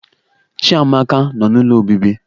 Chiamaka Nọ n'Ụlọ Obibi